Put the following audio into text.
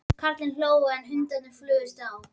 Karlarnir hlógu, en hundarnir flugust á.